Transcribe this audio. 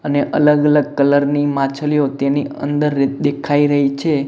અને અલગ અલગ કલર ની માછલીઓ તેની અંદર દેખાઈ રહી છે.